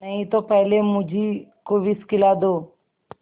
नहीं तो पहले मुझी को विष खिला दो